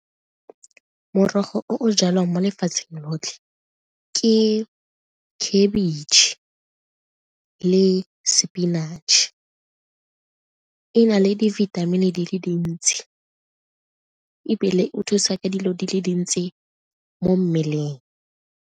Morogo o o jalwang mo lefatsheng lotlhe ke khabitšhe le spinach-e, e na le dibithamini di le dintsi ebile o thusa ka dilo di le dintsi mo mmeleng.